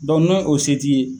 Dɔnku n'o se t'i ye